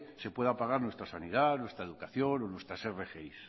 se pueda pagar nuestra sanidad nuestra educación o nuestras rgi